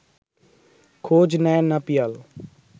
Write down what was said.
খোঁজ নেয় না পিয়াল